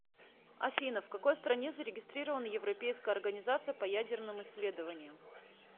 афина в какой стране зарегистрирована европейская организация по ядерным исследованиям